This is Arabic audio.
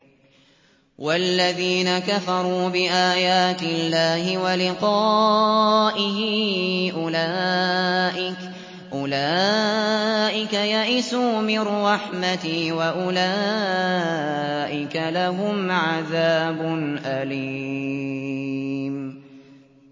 وَالَّذِينَ كَفَرُوا بِآيَاتِ اللَّهِ وَلِقَائِهِ أُولَٰئِكَ يَئِسُوا مِن رَّحْمَتِي وَأُولَٰئِكَ لَهُمْ عَذَابٌ أَلِيمٌ